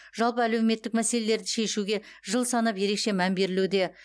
жалпы әлеуметтік мәселелерді шешуге жыл санап ерекше мән берілуде